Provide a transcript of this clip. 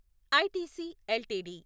ITC LTD